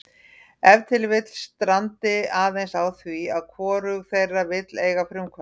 Ef til vill strandi aðeins á því að hvorug þeirra vill eiga frumkvæðið.